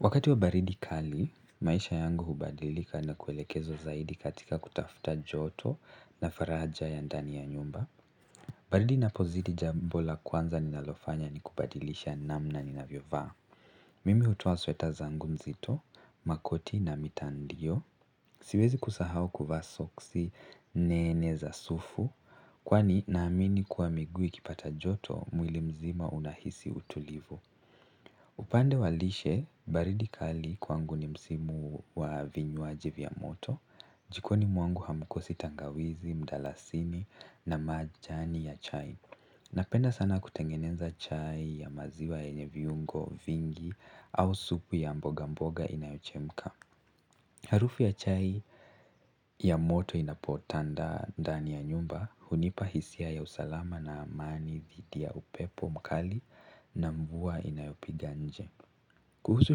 Wakati wa baridi kali, maisha yangu hubadilika na kuelekeza zaidi katika kutafuta joto na faraja ya ndani ya nyumba. Baridi inapozidi jambo la kwanza ninalofanya ni kubadilisha namna ninavyovaa. Mimi hutoa sweta zangu nzito, makoti na mitandio. Siwezi kusahau kuvaa soksi nene za sufu. Kwani naamini kuwa miguu ikipata joto mwili mzima unahisi utulivu. Upande wa lishe, baridi kali kwangu ni msimu wa vinywaji vya moto. Jikoni mwangu hamkosi tangawizi, mdalasini na majani ya chai. Napenda sana kutengeneza chai ya maziwa yenye viungo vingi au supu ya mboga mboga inayochemka. Harufu ya chai ya moto inapotanda dani ya nyumba hunipa hisia ya usalama na amani dhidi ya upepo mkali na mvua inayopiga nje. Kuhusu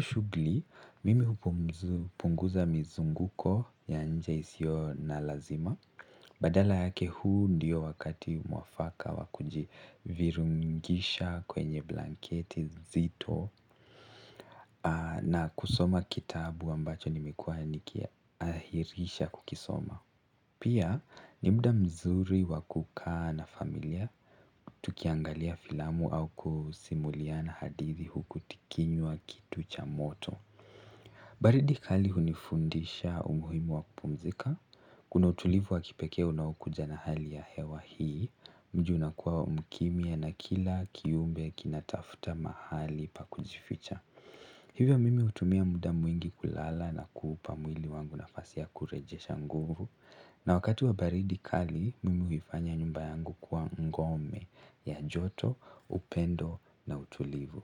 shughuli, mimi hupunguza mizunguko ya nje isiyo na lazima. Badala yake huu ndiyo wakati muafaka wakujivirungisha kwenye blanketi zito na kusoma kitabu ambacho nimekuwa nikiahirisha kukisoma. Pia ni muda mzuri wakukaa na familia, tukiangalia filamu au kusimuliana hadithi huku tukinywa kitu cha moto. Baridi kali hunifundisha umuhimu wa kupumzika, kuna utulivu wa kipekee unaokuja na hali ya hewa hii, mji unakuwa mkimya na kila kiumbe kinatafuta mahali pa kujificha. Hivyo mimi hutumia muda mwingi kulala na kuupa mwili wangu nafasi ya kurejesha nguvu. Na wakati wa baridi kali mimi huifanya nyumba yangu kuwa ngome ya joto, upendo na utulivu.